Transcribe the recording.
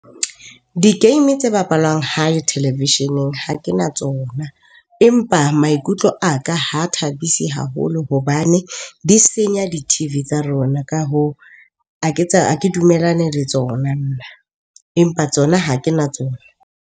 Di-game tse bapalwang hae televisheneng ha ke na tsona, empa maikutlo a ka ha thabisi haholo hobane di senya di-T_V tsa rona. Ka hoo, a ke dumellane le tsona nna empa tsona ha ke na tsona.